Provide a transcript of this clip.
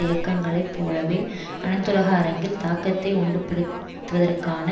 இயக்கங்களைப் போலவே அனைத்துலக அரங்கில் தாக்கத்தை உண்டுபண்ணுவதற்கான